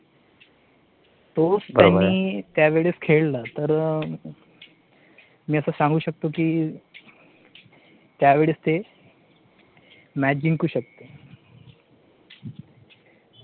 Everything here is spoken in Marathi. तोच त्यांनी त्यावेळेस खेळला तर मी आता सांगू शकतो की त्यावेळेस ते match जिंकू शकतील.